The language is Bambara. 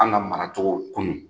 An ka mara cogo kunun